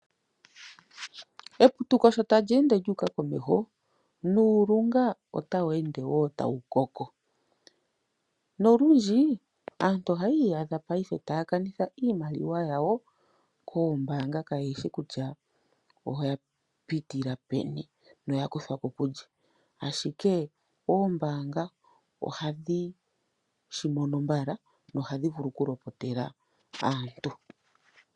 Eputuko sho tali ende lyu uka komeho nuulunga otawu ende tawu koko ,nolundji aantu ohayi itadha payife taya kanitha iimaliwa yawo koombaanga kayeahi kutya oya pitila peni no yakuthwako kulye, ashike oombanga ohadhi shimono mbala nohadhi vulu oku lopotela aantu.